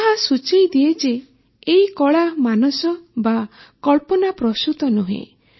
ଯାହା ସୂଚାଇଦିଏ ଯେ ଏହି କଳା ମାନସ ବା କଳ୍ପନାପ୍ରସୂତ ନୁହେଁ